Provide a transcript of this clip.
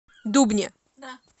дубне